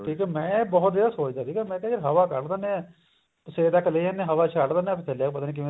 ਠੀਕ ਆ ਮੈਂ ਇਹ ਬਹੁਤ ਜਗ੍ਹਾ ਸੋਚਦਾ ਸੀਗਾ ਮੈਂ ਕਿਹਾ ਯਰ ਹਵਾ ਕੱਢ ਦੇਣੇ ਆ ਸਿਰੇ ਤੱਕ ਲੈ ਜਾਂਦੇ ਹਵਾ ਛੱਡ ਦੇਨੇ ਆ ਪਤਾ ਨੀ ਕਿਵੇਂ